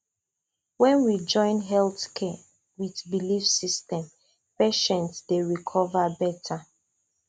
when we join health care with belief system patients dey recover better